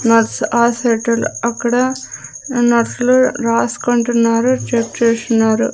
Nurse ఆ అక్కడ నర్సులు రాసుకుంటున్నారు చెక్ చేస్తున్నారు.